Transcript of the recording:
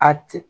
A tɛ